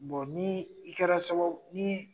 ni i kɛra sababuye ni